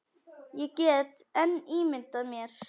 Ég get enn ímyndað mér!